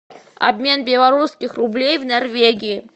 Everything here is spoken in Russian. обмен белорусских рублей в норвегии